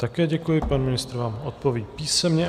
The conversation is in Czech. Také děkuji, pane ministr vám odpoví písemně.